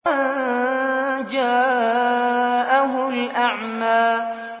أَن جَاءَهُ الْأَعْمَىٰ